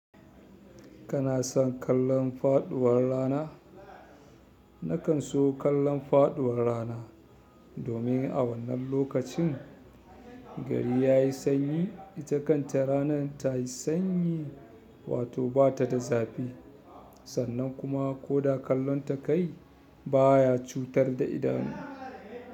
Kana son kallon faɗuwar rana? Nakan so kallon faɗuwar rana domin a wannan lokacin gari ya yi sanyi, ita kan ta rana ta yi sanyi wato batada zafi sannan kuma koda kallon ta kayi baya cutar da idanu.